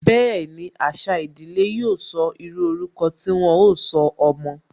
Bẹẹni, àṣà ìdílé yóò sọ, írú ọrúkọ tí wọn ó sọ ọmọ